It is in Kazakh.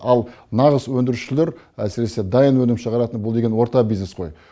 ал нағыз өңдірушілер әсіресе дайын өнім шығаратын бұл деген орта бизнес қой